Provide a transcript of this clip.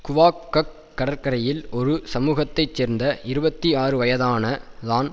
quack கக் கடற்கரையில் ஒரு சமூகத்தை சேர்ந்த இருபத்தி ஆறுவயதான தான்